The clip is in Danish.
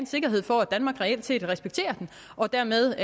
sikkerhed for at danmark reelt set respekterer den og dermed